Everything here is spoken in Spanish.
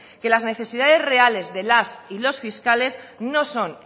que las necesidades reales de las y los fiscales no son